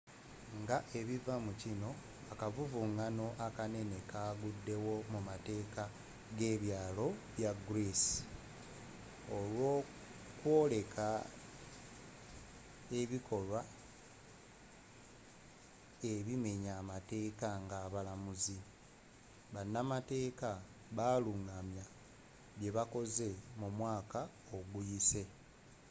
nga ebiva mukino akavuvungano akanene kagudewo mumateeka gebyalo bya greek olwokwoleka ebikolwa ebimenya amateeka nga abalamuzi banamateeka abalungamya byebakoze mumwaka oguyise